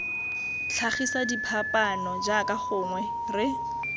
tlhagisa diphapaano jaaka gongwe re